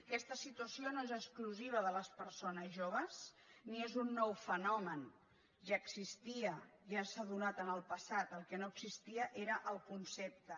aquesta situació no és exclusiva de les persones joves ni és un nou fenomen ja existia ja s’ha donat en el passat el que no existia era el concepte